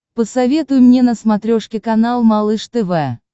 посоветуй мне на смотрешке канал малыш тв